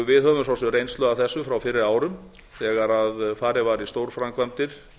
við höfum svo sem reynslu af þessu frá fyrri árum þegar farið var í stórframkvæmdir